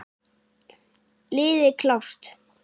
Liði klárt!